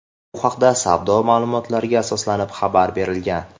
Bu haqda savdo ma’lumotlariga asoslanib xabar berilgan.